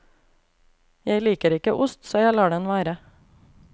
Jeg liker ikke ost, så jeg lar den være.